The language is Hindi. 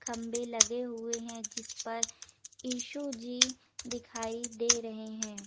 खम्बे लगे हुए है जिस पर इशु जी दिखाई दे रहे है ।